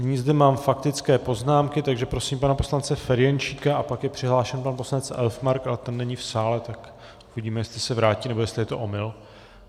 Nyní zde mám faktické poznámky, takže prosím pana poslance Ferjenčíka a pak je přihlášen pan poslanec Elfmark, ale ten není v sále, tak uvidíme, jestli se vrátí, nebo jestli je to omyl.